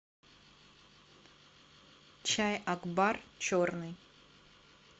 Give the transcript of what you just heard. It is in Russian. чай акбар черный